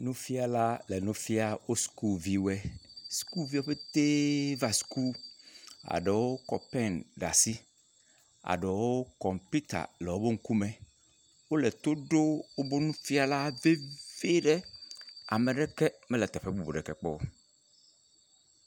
Nufiãla le nu fiam wo sukuviwoe. School viwo pete va school. Eɖewo kɔ pen ɖe asi. Eɖewo kɔmpita le woƒe ŋkume wole to ɖom woƒe nufɛ̃ala vevie ɖe. Ame aɖeke mele teƒe bubu aɖeke kpɔm o.